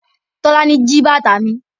Tola ji bàtà mi.